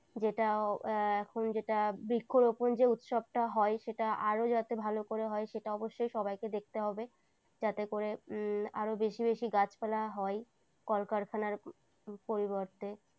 যেটা এখন যেটা বৃক্ষরোপণ যে উৎসবটা হয় সেটা আরো যাতে ভালো করে হয় সেটা অবশ্যই সবাইকে দেখতে হবে যাতে করে আরো বেশি বেশি গাছপালা হয় কলকারখানার পরিবর্তে।